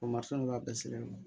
O mansini b'a bɛɛ sirilen don